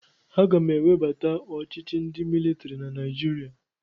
Aga m ewebata ọchịchị ndị militiri na Naijiria.